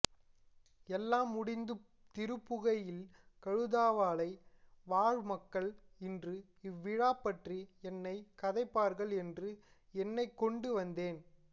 எல்லாம் முடிந்து திரும்புகையில் கழுதாவளை வாழ் மக்கள் இன்று இவ்விழா பற்றி என்ன கதைப்பார்கள் என்று எண்ண்க்கொண்டு வந்தேன்